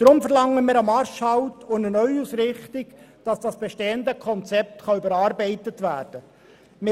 Deshalb verlangen wir einen Marschhalt und eine Neuausrichtung, damit das bestehende Konzept überarbeitet werden kann.